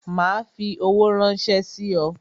Ma fi owó ránsẹ́ sí ọ